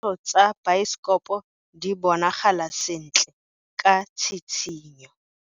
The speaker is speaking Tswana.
Ditshwantsho tsa biosekopo di bonagala sentle ka tshitshinyo.